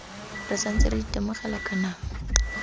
re santse re itemogela kanamo